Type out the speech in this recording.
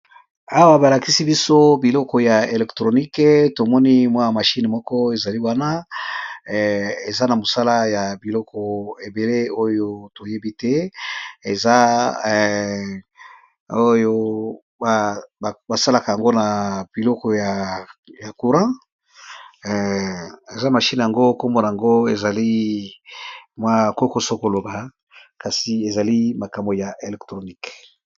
Awa balakisi biso biloko ya electronique tomoni mwaya mashine moko ezali wana eza na mosala ya biloko ebele oyo toyebi te oyo basalaka yango na biloko ya courat eza mashine yango kombona yngo ezali mwakokoso koloba kasi ezali makambo ya electronique